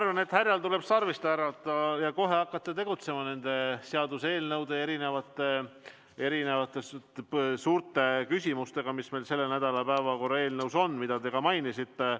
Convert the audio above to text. Ma arvan, et härjal tuleb sarvist haarata ja kohe hakata tegutsema nende seaduseelnõude ja suurte küsimustega, mis meil selle nädala päevakorras on ja mida te ka mainisite.